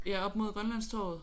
Ja oppe mod Grønlandstorvet